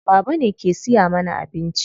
Baba ne ke siya mana abinci.